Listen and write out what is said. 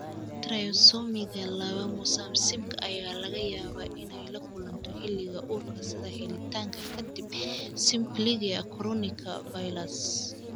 Trisomiga laba mosaicismka ayaa laga yaabaa inay la kulanto xilliga uurka sida helitaanka ka dib samplingka chorionika villus.